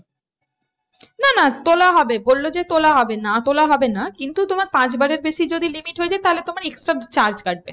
না না তোলা হবে বললো যে তোলা হবে না তোলা হবে না কিন্তু তোমার পাঁচবারের বেশি যদি limit হয়ে যায় তাহলে তোমার extra charge কাটবে।